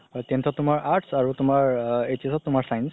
tenth ত তুমাৰ arts আৰু HS ত তুমাৰ science